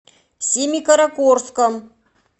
семикаракорском